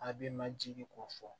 A b'i majigin ko fɔ